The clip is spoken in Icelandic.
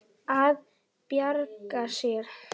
Að bjarga sér.